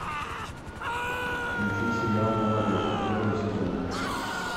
включи сериал молодежку первый сезон